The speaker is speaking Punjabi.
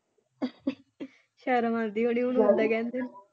ਸ਼ਰਮ ਆਉਂਦੀ ਹੋਣੀ ਉਹਨੂੰ ਮਾਤਾ ਕਹਿੰਦੀ?